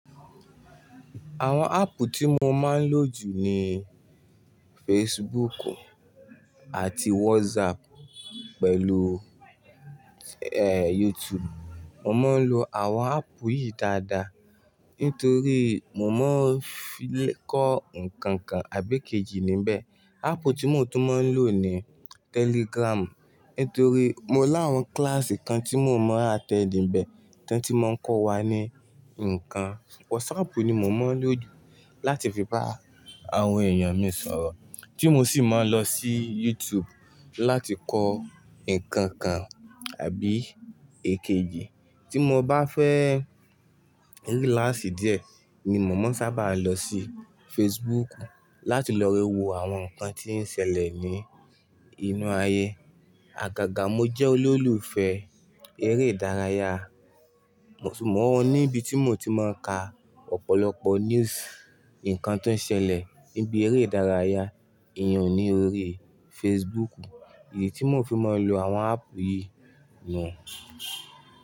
Àwọn áppù tí mo máa ń lò jù ni Facebook àti WhatsApp pẹ̀lú YouTube. Mo máa ń lo àwọn áppù yìí dáadáa nítorí mo máa ń fi kọ́ nǹkan kan àbí èkejì níbẹ̀. Áppù tí mo tún máa ń lò ni Telegram nítorí mo láwọn kíláàsì kan tí mo mọ́ àttẹnd ńbẹ̀ tó ti máa ń kọ́ wa ní ǹkan. WhatsApp ni mo mọ̀ ń lò jù láti fi bá àwọn èèyàn mi sọ̀rọ̀ tí mo sì mọ̀ ń lọ sí YouTube láti kọ́ nǹkan kan àbí èkejì. Tí mo bá fẹ́ ní cláàsì díẹ̀ ni mo mo ń sábà lọ sí Facebook láti lọ wo àwọn nǹkan tí ó ń ṣẹlẹ̀ ní inú ayé. Àgàgà mo jẹ́ olólùfẹ́ eré ìdárayá, mo sì mọ̀ ọ́n ní ibi tí mo ti máa ń ka ọ̀pọ̀lọpọ̀ news, ǹkan tó ń ṣẹlẹ̀ níbi eré ìdárayá èèyàn ní orí Facebook. Èyí tí mo fi máa ń lo àwọn áppù yìí lò.